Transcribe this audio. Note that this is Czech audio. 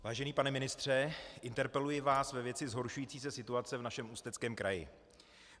Vážený pane ministře, interpeluji vás ve věci zhoršující se situace v našem Ústeckém kraji.